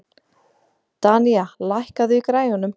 Danía, lækkaðu í græjunum.